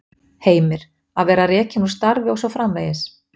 Heimir: Að vera rekinn úr starfi og svo framvegis?